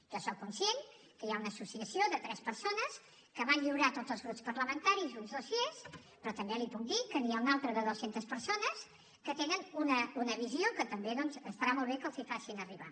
jo sóc conscient que hi ha una associació de tres persones que van lliurar a tots els grups parlamentaris uns dossiers però també li puc dir que n’hi ha una altra de dues centes persones que tenen una visió que també doncs estarà molt bé que els la facin arribar